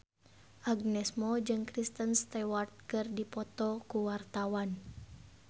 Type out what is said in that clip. Agnes Mo jeung Kristen Stewart keur dipoto ku wartawan